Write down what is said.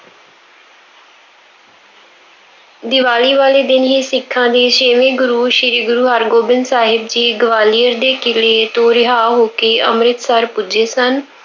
ਦੀਵਾਲੀ ਵਾਲੇ ਦਿਨ ਹੀ ਸਿੱਖਾਂ ਦੇ ਛੇਵੇਂ ਗੁਰੂ ਸ਼੍ਰੀ ਗੁਰੂ ਹਰਗੋਬਿੰਦ ਸਾਹਿਬ ਜੀ ਗਵਾਲੀਅਰ ਦੇ ਕਿਲੇ ਤੋਂ ਰਿਹਾਅ ਹੋ ਕੇ ਅੰਮ੍ਰਿਤਸਰ ਪੁੱਜੇ ਸਨ।